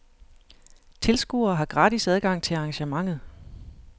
Tilskuere har gratis adgang til arrangementet.